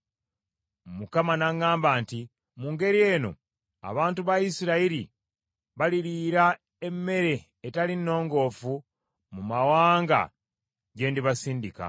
Mukama n’aŋŋamba nti, “Mu ngeri eno abantu ba Isirayiri baliriira emmere etali nnongoofu mu mawanga gye ndibasindika.”